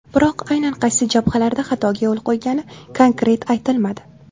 Biroq aynan qaysi jabhalarda xatoga yo‘l qo‘ygani konkret aytilmadi.